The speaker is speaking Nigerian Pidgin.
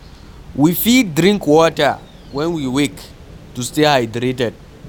We fit drink water when we wake to stay hydrated